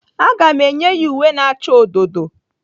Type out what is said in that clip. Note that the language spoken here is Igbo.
Aga m enye ya uwe na-acha odo odo.